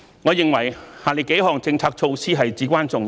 我認為下列幾項政策措施至關重要。